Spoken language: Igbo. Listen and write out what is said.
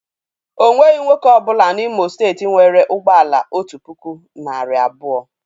O nweghị nwoke ọ bụla N'Imo steeti nwere ụgbọ ala otu puku, narị abụọ.